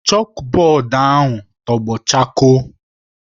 Chọkbọọdụ ahụ tọgbọ chakoo.